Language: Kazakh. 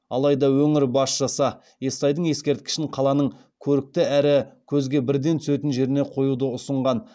алайда өңір басшысы естайдың ескерткішін қаланың көрікті әрі көзге бірден түсетін жеріне қоюды ұсынған